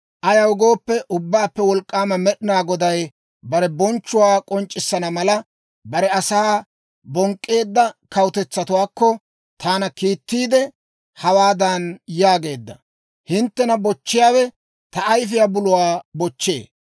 Ayaw gooppe, Ubbaappe Wolk'k'aama Med'inaa Goday bare bonchchuwaa k'onc'c'issana mala, bare asaa bonk'k'eedda kawutetsatuwaakko taana kiittiidde, hawaadan yaageedda; «Hinttena bochchiyaawe ta ayfiyaa buluwaa bochchee.